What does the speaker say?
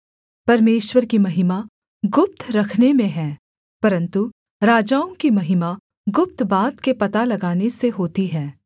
परमेश्वर की महिमा गुप्त रखने में है परन्तु राजाओं की महिमा गुप्त बात के पता लगाने से होती है